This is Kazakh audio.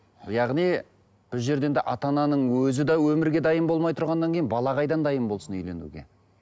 яғни бұл жерден де ата ананың өзі де өмірге дайын болмай тұрғаннан кейін бала қайдан дайын болсын үйленуге